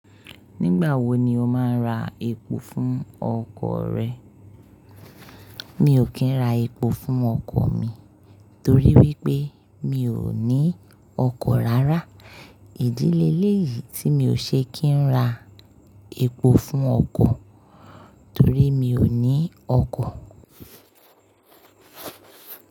Nígbà wo ni o máa ra epo fún ọkọ̀ rẹ? Mi ò kí ń ra epo fún ọkọ̀ mi torí wípé mi ò ní ọkọ̀ rárá. Ìdí leléyìí tí mi ò ṣe kí n ra epo fún ọkọ̀ torí mi ò ní ọkọ̀.